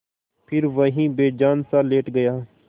फिर वहीं बेजानसा लेट गया